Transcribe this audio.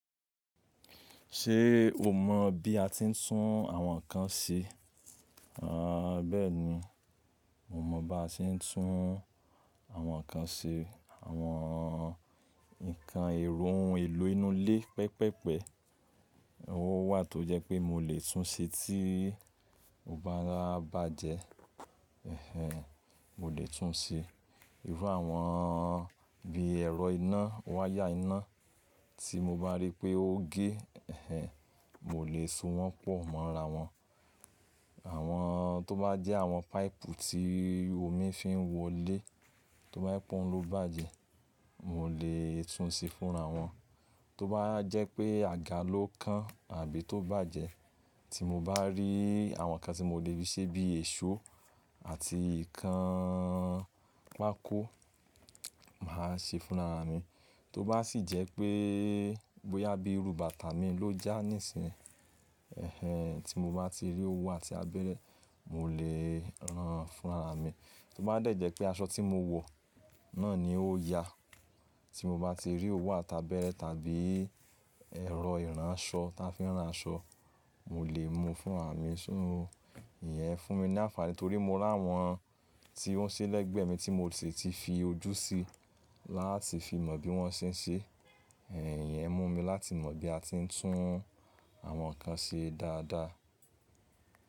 Ṣé o mọ̀ bí a ti ń tún àwọn nkan ṣe? Àń bẹ́ẹ̀ni, mo mọ̀ bá se ń tún àwọn nkan ṣe. Àwọn nkan èrò elo inú ilé pẹpẹ́pẹ́, owó wà tó jẹ́ pé mo lè tún un ṣe tí ó bá a bàjẹ́. Ẹ̀hẹn, mo lè tún un ṣe. Irú àwọn bí ẹ̀rọ iná, wáyà iná tí mo bá rí pé ó gé, ẹ̀hẹn, mo lè so wọ́n pò mọ́n ra wọ́n. Àwọn tó bá jẹ́ àwọn páìpù tí omi fi ń wọ lé, tó bá je pe ohun ló bàjẹ́, mo lè tún un ṣe fúnra wọn. Tó bá jẹ́ pé àga ló kán àbí tó bàjẹ́, tí mo bá rí àwọn nkan tí mo lè fí ṣẹ́ bí èso àti ìkan pákó, màá ṣe fúnra mi. Tó bá sì jẹ́ pé bóyá bí irú bàtà mi ló já níìsín, ẹ̀hẹn, tí mo bá ti rí owu àti abẹ́rẹ́, mo lè ran fúnra mi. Tó bá dẹ́ jẹ́ pé aṣọ tí mo wọ náà ni ó ya, tí mo bá ti rí owu àti abẹ́rẹ́ tàbí ẹ̀rọ ìránṣọ ta fi ń rán aṣọ, mo lè mú u fúnra mi. Ṣo iyẹn fún mi ní àǹfààní torí mo rí àwọn tí wọ́n ṣe lẹ́gbẹ̀ẹ́ mi tí mo sì ti fii ojú sí i láti fi mọ̀ bí wọ́n ṣe ń ṣe. Ẹ̀hẹn, ìyẹn mú mi láti mọ̀ bí a ti ń tún àwọn nkan ṣe dáadáa.